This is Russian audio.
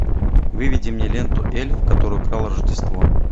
выведи мне ленту эльф который украл рождество